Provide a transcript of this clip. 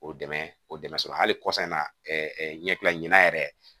O dɛmɛ o dɛmɛ sɔrɔ hali kɔsan in na ɲɛkile ɲinana yɛrɛ